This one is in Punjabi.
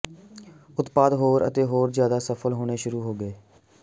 ਉਤਪਾਦ ਹੋਰ ਅਤੇ ਹੋਰ ਜਿਆਦਾ ਸਫਲ ਹੋਣੇ ਸ਼ੁਰੂ ਹੋ ਗਏ